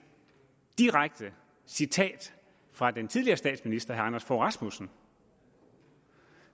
direkte citat fra den tidligere statsminister herre anders fogh rasmussen